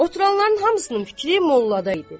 Oturanların hamısının fikri mollada idi.